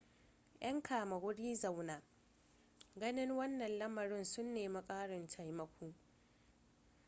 'yan kama-wuri-zaunan ganin wanna lamarin sun nemi karin taimako